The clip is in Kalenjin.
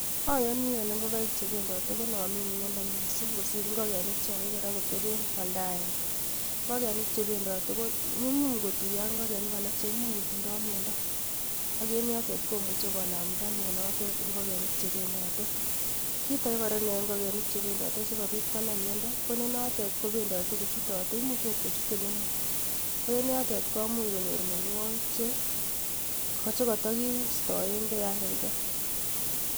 Ayoni ale ingokaik chebendati konamin miando mising kosir ingokenik chekakiker ak koteben olda agenge. ngokenik chebendotiko nyumnyum kotuiyo ak ingokenik alak cheimuch kotindai miando ak en yotet komuchei konamta mionotet ingokenik chebenditei. kit age kora. neyaei ngokenik chebendotei sikobit konam miondo ko ni notet kobendotei ako chututei, imuch akot kochut ole mur ko en yotet komu h konyor mionwagik che kata kiistaengei yan kakiker